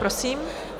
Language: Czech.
Prosím.